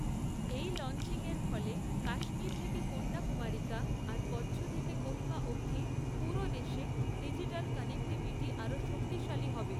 এই লঞ্চিংয়ের ফলে, কাশ্মীর থেকে কন্যাকুমারিকা, আর কচ্ছ থেকে কোহিমা অবধি, পুরো দেশে, ডিজিটাল কানেক্টিভিটি আরও শক্তিশালী হবে।